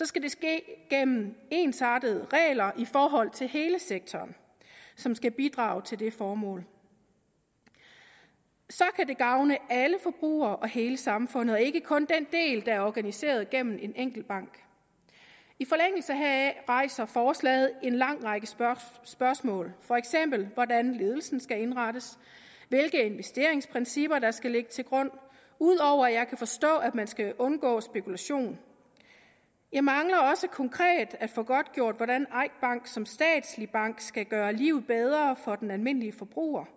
skal det ske gennem ensartede regler i forhold til hele sektoren som skal bidrage til det formål så kan det gavne alle forbrugere og hele samfundet og ikke kun den del der er organiseret gennem en enkelt bank i forlængelse heraf rejser forslaget en lang række spørgsmål for eksempel hvordan ledelsen skal indrettes hvilke investeringsprincipper der skal ligge til grund ud over at jeg kan forstå at man skal undgå spekulation jeg mangler også konkret at få godtgjort hvordan eik bank som statslig bank skal gøre livet bedre for den almindelige forbruger